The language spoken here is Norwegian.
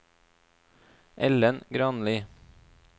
Ellen Granli